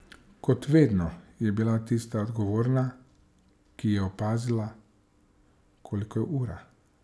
Kot vedno je bila tista odgovorna, ki je opazila, koliko je ura.